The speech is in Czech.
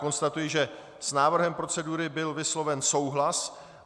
Konstatuji, že s návrhem procedury byl vysloven souhlas.